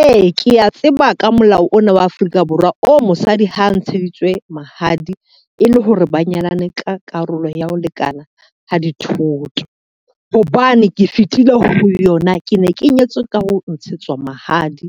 Ee, kea tseba ka molao ona wa Afrika Borwa o mosadi ha ntsheditswe mahadi e le hore ba nyalane ka karolo ya ho lekana ha dithoto. Hobane ke fetile ho yona, ke ne ke nyetswe ka ho ntshetswa mahadi.